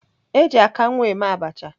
Eji akanwu eme abacha.